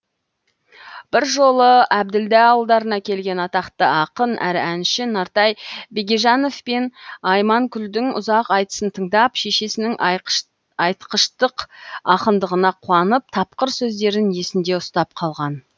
бір жолы әбділда ауылдарына келген атақты ақын әрі әнші нартай бегежановпен айманкүлдің ұзақ айтысын тыңдап шешесінің айтқыштық ақындығына қуанып тапқыр сөздерін есінде ұстап қалған